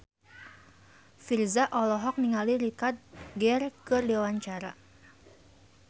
Virzha olohok ningali Richard Gere keur diwawancara